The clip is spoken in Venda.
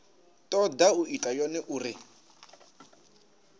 toda u ita yone uri